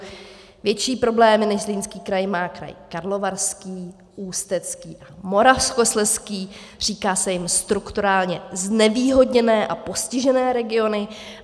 Větší problémy než Zlínský kraj má kraj Karlovarský, Ústecký a Moravskoslezský, říká se jim strukturálně znevýhodněné a postižené regiony.